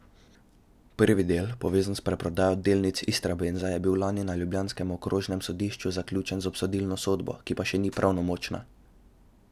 Prvi del, povezan s preprodajo delnic Istrabenza, je bil lani na ljubljanskem okrožnem sodišču zaključen z obsodilno sodbo, ki pa še ni pravnomočna.